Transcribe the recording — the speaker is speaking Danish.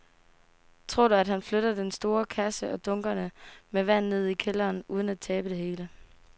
Tror du, at han kan flytte den store kasse og dunkene med vand ned i kælderen uden at tabe det hele?